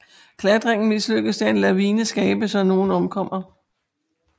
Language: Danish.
Klattringen mislykkeds da en lavine skabes og nogen omkommer